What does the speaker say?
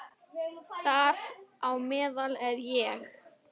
Þar á meðal er ég.